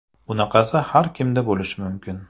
Bunaqasi har kimda bo‘lishi mumkin.